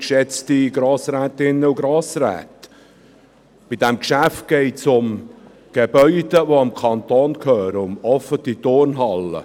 Bei diesem Geschäft geht es um Gebäude, die dem Kanton gehören: um offene Turnhallen.